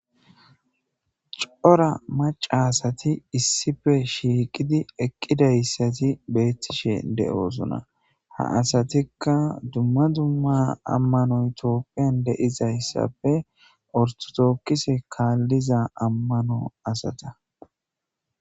Cora maca asati issife shiiqidi eqqidayssati beettishe de'oosona ha asatikka dumma dumma ammanoy toopphiyan deizayssape ortotookkise kaalliza ammano asata.